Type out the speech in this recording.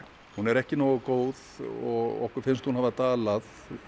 hún er ekki nógu góð og okkur finnst hún hafa dalað